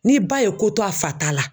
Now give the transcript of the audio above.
Ni ba ye ko to a fa ta la.